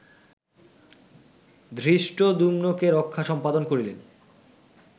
ধৃষ্টদ্যুম্নকে রক্ষা সম্পাদন করিলেন